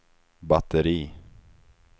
batteri